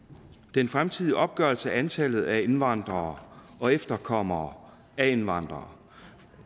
den fremtidige opgørelse af antallet af indvandrere og efterkommere af indvandrere